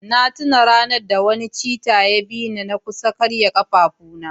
na tuna ranar da wani cheetah ya kusa bi ni na karya kafafuna